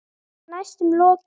Eða næstum lokið.